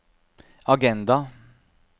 agenda